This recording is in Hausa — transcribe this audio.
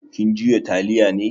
Kin juya taliya ne?